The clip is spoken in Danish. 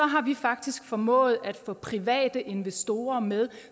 har vi faktisk formået at få private investorer med